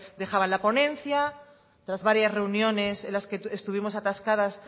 dejaban la ponencia tras varias reuniones en las que estuvimos atascadas